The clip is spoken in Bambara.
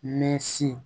Mɛ si